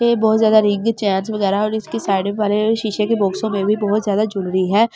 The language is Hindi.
पे बहुत जादा रिंग चैनस वगैरह और इसके साइड पर शीशे के बॉक्सों मे भी बहुत जादा ज्वेलरी है ।